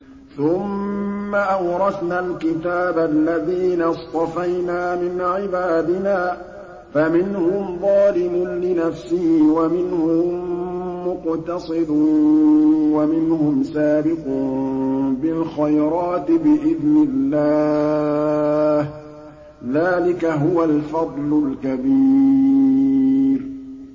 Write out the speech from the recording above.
ثُمَّ أَوْرَثْنَا الْكِتَابَ الَّذِينَ اصْطَفَيْنَا مِنْ عِبَادِنَا ۖ فَمِنْهُمْ ظَالِمٌ لِّنَفْسِهِ وَمِنْهُم مُّقْتَصِدٌ وَمِنْهُمْ سَابِقٌ بِالْخَيْرَاتِ بِإِذْنِ اللَّهِ ۚ ذَٰلِكَ هُوَ الْفَضْلُ الْكَبِيرُ